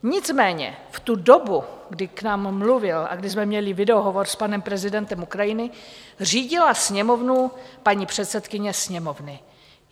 Nicméně v tu dobu, kdy k nám mluvil a kdy jsme měli videohovor s panem prezidentem Ukrajiny, řídila Sněmovnu paní předsedkyně Sněmovny.